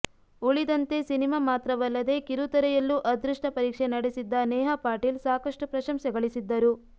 ಉಳಿದಂತೆ ಸಿನಿಮಾ ಮಾತ್ರವಲ್ಲದೇ ಕಿರುತೆರೆಯಲ್ಲೂ ಅದೃಷ್ಟ ಪರೀಕ್ಷೆ ನಡೆಸಿದ್ದ ನೇಹಾ ಪಾಟೀಲ್ ಸಾಕಷ್ಟು ಪ್ರಶಂಸೆ ಗಳಿಸಿದ್ದರು